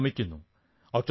അവരെ നമിക്കുന്നു